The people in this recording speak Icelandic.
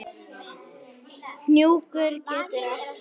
Hnjúkur getur átt við